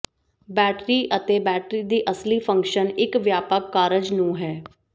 battery ਅਤੇ battery ਦੀ ਅਮਲੀ ਫੰਕਸ਼ਨ ਇੱਕ ਵਿਆਪਕ ਕਾਰਜ ਨੂੰ ਹੈ